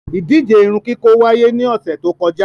Ìdije irunkiko waiye ni ọsẹ to kọja